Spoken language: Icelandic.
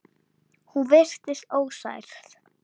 Hún virtist ósærð.